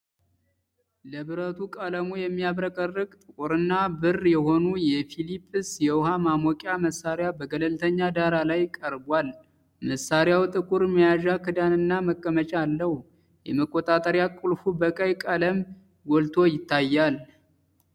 ለብረቱ ቀለሙ የሚያብረቀርቅ ጥቁርና ብር የሆኑ የፊሊፕስ የውሀ ማሞቂያ መሳሪያ በገለልተኛ ዳራ ላይ ቀርቧል። መሣሪያው ጥቁር መያዣ፣ ክዳንና መቀመጫ አለው። የመቆጣጠሪያ ቁልፉ በቀይ ቀለም ጎልቶ ይታያል።